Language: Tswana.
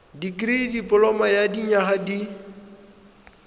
dikirii dipoloma ya dinyaga di